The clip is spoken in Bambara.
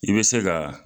I bɛ se ka